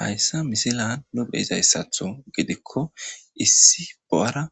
Hayssa misselan nu beizayssaththo giddiko issi bo'ara